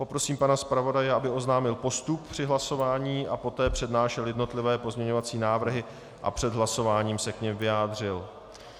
Poprosím pana zpravodaje, aby oznámil postup při hlasování a poté přednášel jednotlivé pozměňovací návrhy a před hlasováním se k nim vyjádřil.